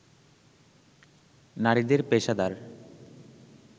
নারীদের পেশাদার